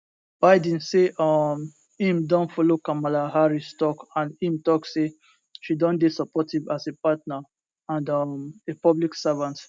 biden say um im don follow kamala harris tok and im tok say she don dey supportive as a partner and um a public servant